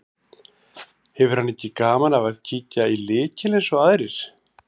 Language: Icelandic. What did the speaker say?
Hefur hann ekki gaman af að kíkja í lykil eins og aðrir.